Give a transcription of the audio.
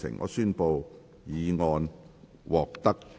我宣布議案獲得通過。